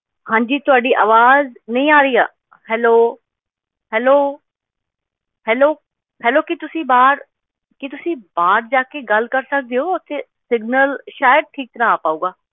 ਹਾਂਜੀ ਤੁਹਾਡੀ ਆਵਾਜ਼ ਨਹੀਂ ਆ ਰਹੀ ਆ hello hello hello hello ਕੀ ਤੁਸੀਂ ਬਾਹਰ, ਕੀ ਤੁਸੀਂ ਬਾਹਰ ਜਾ ਕੇ ਗੱਲ ਕਰ ਸਕਦੇ ਹੋ ਉੱਥੇ signal ਸ਼ਾਇਦ ਠੀਕ ਤਰ੍ਹਾਂ ਆ ਪਾਊਗਾ।